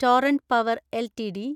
torrent Power LTD